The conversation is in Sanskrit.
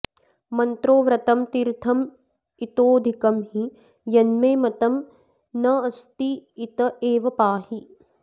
मन्त्रो व्रतं तीर्थमितोऽधिकं हि यन्मे मतं नास्त्यत एव पाहि